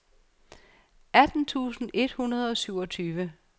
atten tusind et hundrede og syvogtyve